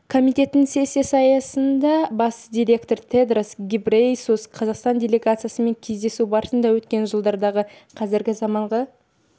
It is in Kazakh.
комитетінің сессиясы аясында бас директоры тедрос гебрейесус қазақстан делегациясымен кездесу барысында өткен жылдардағы қазіргі заманғы